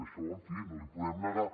això en fi no l’hi podem negar